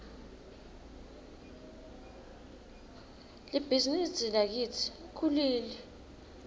libhizinisi lakitsi lkhulile